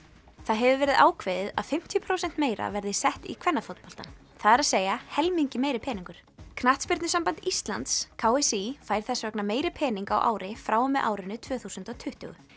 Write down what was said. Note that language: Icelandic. það hefur verið ákveðið að fimmtíu prósent meira verði sett í kvennafótboltann það er að helmingi meiri peningur knattspyrnusamband Íslands k s í fær þess vegna meiri pening á ári frá og með árinu tvö þúsund og tuttugu